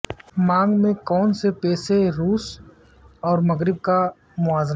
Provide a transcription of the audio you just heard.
مانگ میں کون سے پیشے روس اور مغرب کا موازنہ